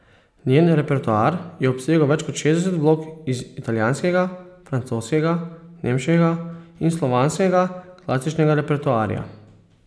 Njen repertoar je obsegal več kot šestdeset vlog iz italijanskega, francoskega, nemškega in slovanskega klasičnega repertoarja.